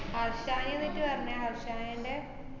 ന്നിട്ട് പറഞ്ഞെ ഹരഷായിന്‍റെ